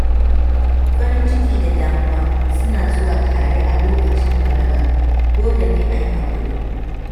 Farin ciki da damuwa suna zuwa tare a lokacin balaga, dole ne a yi haƙuri.